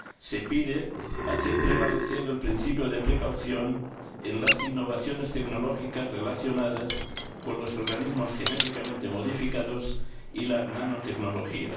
Se pide hacer prevalecer el principio de cautela en las innovaciones tecnológicas relacionadas con los organismos genéticamente modificados y la nanotecnología.